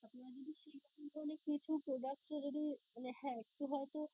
আপনারা যদি সেইরকম ধরনের কিছু products এ যদি মানে হ্যাঁ কিছু হয়তো